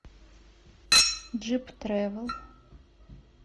джип тревел